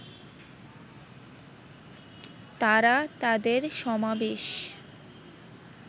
তারা তাদের সমাবেশ